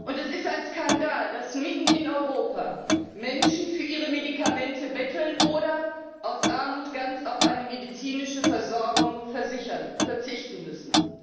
Und es ist ein Skandal, dass mitten in Europa Menschen für ihre Medikamente betteln oder aus Armut ganz auf eine medizinische Versorgung verzichten müssen.